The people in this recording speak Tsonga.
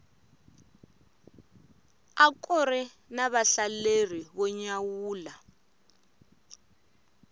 akuri na vahlaleri vo nyawula